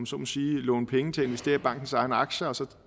så må sige låne penge til at investere i bankens egne aktier og så